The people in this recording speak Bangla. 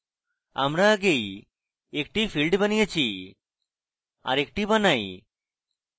আমরা আগেই একটি field বানিয়েছি আরেকটি বানাই